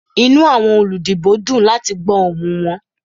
Inu awọn oludibo dun lati gbọ ohun wọn.